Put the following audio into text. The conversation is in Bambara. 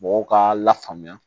Mɔgɔw k'a la faamuya